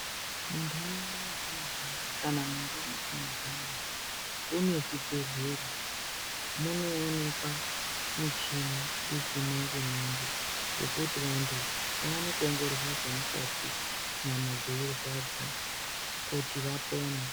Muntaraunda metinogara kana mundau metinogara mune zvibhedhlera munoonekwa michini yechimanje-manje. Yekuti vantu vaone kuongororwa zvemukati nyama dzeirwadza kuti vapone.